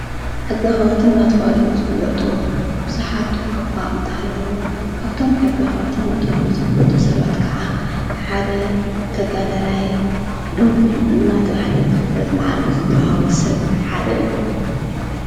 ሕጊ ኸርትን ናትዋሎ ዝፍለጡ ብዙኃት እኳ እንተሃለዉ ካብቶም ሕጊ ኸርትን ናትዋሎ ዝፍለጡ ሰባት ከዓ ሓደ ተጋዳላይ ድንኩል እናተ ብሃለ ዘፍለጥ መዓረግ ዘተውሃወሰብ ሓደ እዩ።